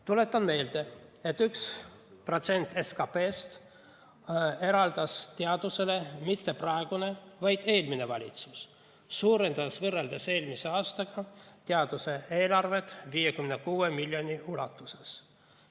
Tuletan meelde, et 1% SKP‑st eraldas teadusele mitte praegune, vaid eelmine valitsus, kes suurendas võrreldes eelmise aastaga teaduse eelarvet 56 miljoni ulatuses.